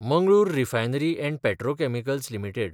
Mangalore refinery and petrochemicals limited